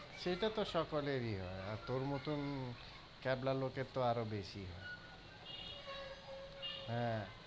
সেটা তো সকলেরই হয় আর তোর মতন কেবলা লোকের আরও বেশি হয়। হ্যাঁ,